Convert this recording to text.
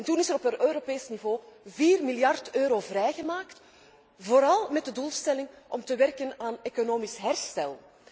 Toen is er op Europees niveau 4 miljard euro vrijgemaakt, vooral met de doelstelling om te werken aan economisch herstel.